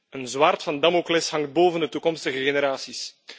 Een zwaard van Damocles hangt boven de toekomstige generaties.